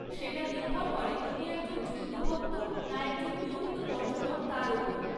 সেটা নির্ভর করে তুমি একজন জৈন ভক্ত না একজন নিয়মিত পর্যটক তার ওপর।